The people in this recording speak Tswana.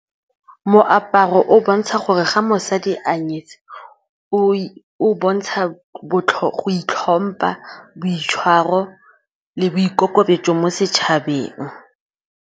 Moaparo o bontsha gore ga mosadi a nyetswe o bontsha go itlhompha, boitshwaro le boikokobetso mo setšhabeng.